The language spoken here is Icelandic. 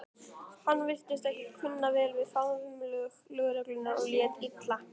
Hann virtist ekki kunna vel við faðmlög lögreglunnar og lét illa.